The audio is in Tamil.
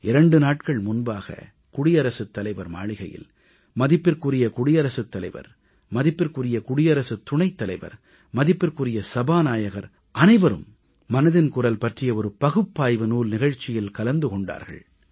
2 நாட்கள் முன்பாக குடியரசுத் தலைவர் மாளிகையில் மேதகு குடியரசுத் தலைவர் மேதகு குடியரசுத் துணைத்தலைவர் மேதகு நாடாளுமன்ற மக்களவைத் தலைவர் அனைவரும் மனதின் குரல் பற்றிய பகுப்பாய்வு நூல் நிகழ்ச்சியில் கலந்து கொண்டார்கள்